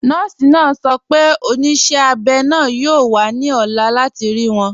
Nọọ̀si naa sọ̀ pẹ̀ onísẹ̀ abẹ́ naa yóò wà ní ọ̀là láti rí wọn.